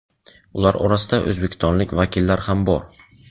Ular orasida o‘zbekistonlik vakillar ham bor.